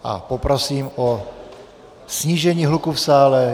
A poprosím o snížení hluku v sále.